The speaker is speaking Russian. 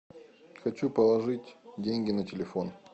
хочу положить деньги на телефон